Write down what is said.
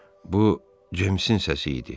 Bu James'in səsi idi.